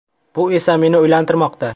Bu esa meni o‘ylantirmoqda.